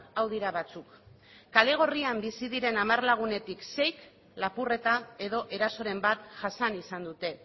hau dira batzuk kale gorrian bizi diren hamar lagunetik seik lapurreta edo erasoren bat jasan izan dute